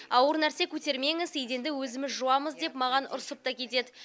ауыр нәрсе көтермеңіз еденді өзіміз жуамыз деп маған ұрсып та кетеді